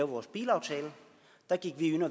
vores bilaftale der gik